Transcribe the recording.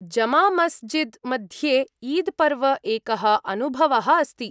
जमामस्जिद् मध्ये ईद् पर्व एकः अनुभवः अस्ति।